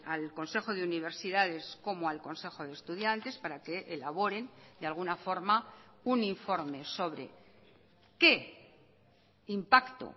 al consejo de universidades como al consejo de estudiantes para que elaboren de alguna forma un informe sobre qué impacto